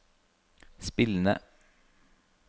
spillende